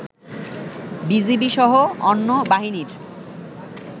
BGB সহ অন্য বাহিনীর